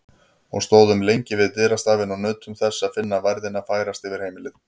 Og stóðum lengi við dyrastafinn og nutum þess að finna værðina færast yfir heimilið.